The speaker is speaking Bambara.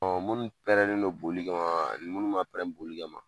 munnu pɛrɛnnen don boli kama, ani munnu ma pɛrɛn boli kama